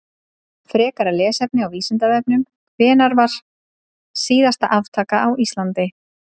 Frekara lesefni á Vísindavefnum: Hvenær var síðasta aftakan á Íslandi?